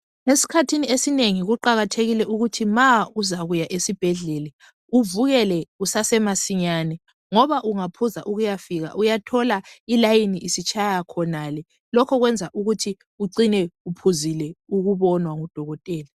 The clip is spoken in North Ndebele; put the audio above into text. Esikhathini esinengi kuqakathekile ukuthi ma uzakuya esibhedlela uvukele kusase masinyane ngoba ungaphuza ukuyafika uyathola ilayini isitshaya khonale. Lokho kwenza ukuthi ucine uphuzile ukubonwa ngudokotela.